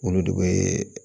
Olu de bɛ